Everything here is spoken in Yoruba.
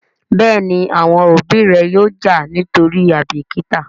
Béèni àwọn òbí ré yóò já nítorí àìbìkítà.